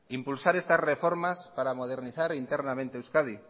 impulsar estas reformas para modernizar internamente euskadi